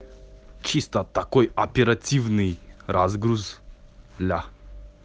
чисто такой оперативный разгруз ля